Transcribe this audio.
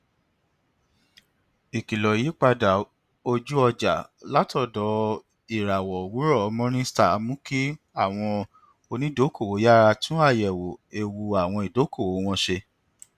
ikìlọ ìyípadà ojúọjà látọdọ ìràwọ owurọ morningstar mú kí àwọn onídokòòwò yára tún àyẹwò ewu àwọn ìdókòòwò wọn ṣe